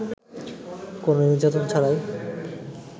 কোন নির্যাতন ছাড়াই